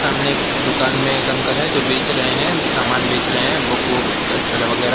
सामने एक दुकान में एक अंकल हैं जो बेच रहे हैं सामान बेच रहे हैं बुक वुक स वगैरा।